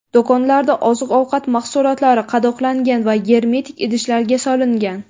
Do‘konlarda oziq-ovqat mahsulotlari qadoqlangan va germetik idishlarga solingan.